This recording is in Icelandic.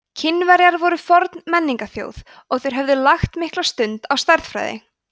kínverjar voru forn menningarþjóð og þeir höfðu lagt mikla stund á stærðfræði